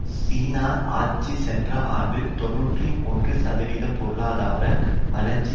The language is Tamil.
சீனா ஆட்சி சென்ற ஆண்டு தொன்னூற்றி ஒன்று சதவீத பொருளாதார வளர்ச்சி